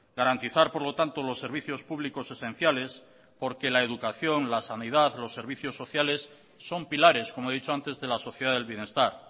garantizar por lo tanto los servicios públicos esenciales porque la educación la sanidad los servicios sociales son pilares como he dicho antes de la sociedad del bienestar